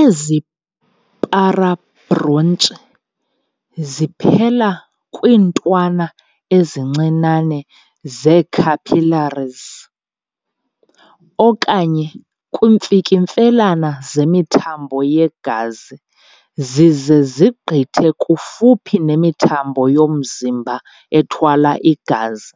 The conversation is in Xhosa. Ezi-para-bronchi ziphela kwiintwana ezincinane zee-capillaries okanye kwiimfikimfelane zemithambo yegazi zize zigqithe kufuphi nemithambo yomzimba ethwala igazi,